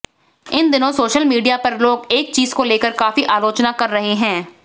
इन दिनों social media पर लोग एक चीज को लेकर काफी आलोचना कर रहे हैं